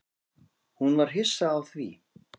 Hún var hissa á því.